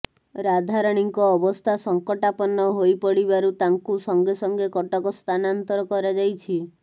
ରାଧାରାଣୀଙ୍କ ଅବସ୍ଥା ସଂକଟାପନ୍ନ ହୋଇପଡ଼ିିବାରୁ ତାଙ୍କୁ ସଂଗେ ସଂଗେ କଟକ ସ୍ଥାନାନ୍ତର କରାଯାଇଛି